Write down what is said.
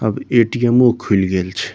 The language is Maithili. अब ए.टी.एमो. खुल गेल छै।